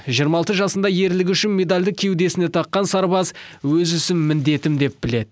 жиырма алты жасында ерлігі үшін медалді кеудесіне таққан сарбаз өз ісін міндетім деп біледі